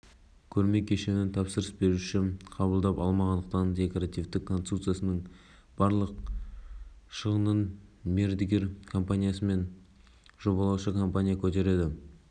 нәтижесінде комиссия конструкцияның құлауына жобалық кемшіліктер себеп болды деген шешімге келді атап айтсақ мәселе дәл осы